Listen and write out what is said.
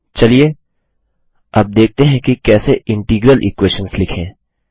चलिए अब देखते हैं कि कैसे इंटीग्रल इक्वेशंस लिखें